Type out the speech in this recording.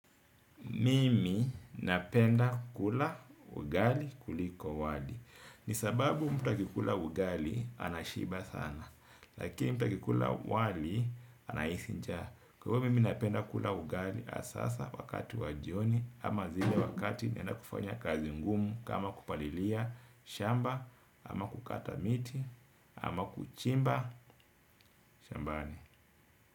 Mimi napenda kula ugali kuliko wali. Ni sababu mtu akikula ugali anashiba sana. Lakini mtu akikula wali anahisi njaa. Kwa hivyo mimi napenda kula ugali hasa wakati wa jioni. Ama zile wakati naenda kufanya kazi ngumu. Kama kupalilia shamba ama kukata miti ama kuchimba shambani.